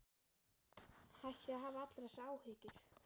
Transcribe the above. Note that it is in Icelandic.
Hættu að hafa allar þessar áhyggjur.